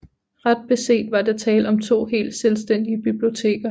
Ret beset var der tale om to helt selvstændige biblioteker